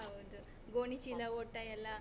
ಹೌದು. ಗೋಣಿ ಚೀಲ ಓಟ ಎಲ್ಲ.